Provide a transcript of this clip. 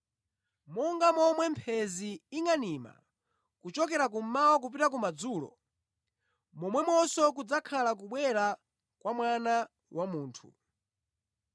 Monga momwe mphenzi ingʼanima kuchokera kummawa kupita kumadzulo, momwemonso kudzakhala kubwera kwa Mwana wa Munthu.